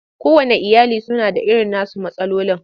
Kowanne iyali suna da irin nasu matsalolin.